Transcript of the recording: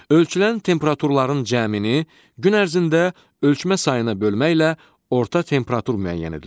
Ölçülən temperaturların cəmini gün ərzində ölçmə sayına bölməklə orta temperatur müəyyən edilir.